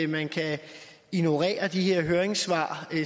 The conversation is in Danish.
man kan ignorere de her høringssvar